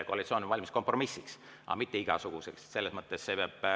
Koalitsioon on valmis kompromissiks, aga mitte igasuguseks.